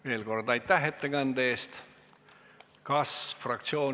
Veel kord aitäh ettekande eest!